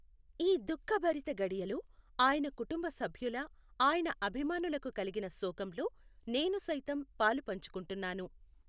ఈ దుఃఖభరిత ఘడియలో ఆయన కుటుంబ సభ్యుల, ఆయన అభిమానులకు కలిగిన శోకంలో నేను సైతం పాలుపంచుకుంటున్నాను.